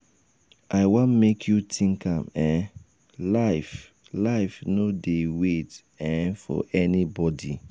i wan make you think am um life um life no um dey wait um for anybody.